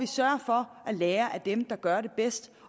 sørger for at lære af dem der gør det bedst